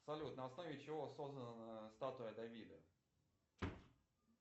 салют на основе чего создана статуя давида